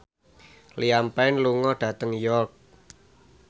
Liam Payne lunga dhateng York